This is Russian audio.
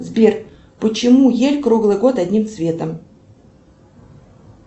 сбер почему ель круглый год одним цветом